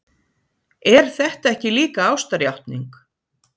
Er þetta ekki líka ástarjátning?